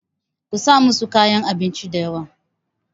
ku sa musu kayan abinci da yawa!